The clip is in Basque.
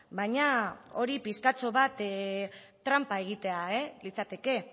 baina hori pixkatxo bat tranpa egitea litzateke